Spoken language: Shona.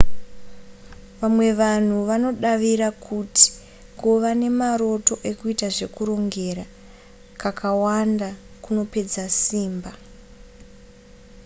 vamwe vanhu vanodavira kuti kuva nemaroto ekuita zvekurongera kakawanda kunopedza simba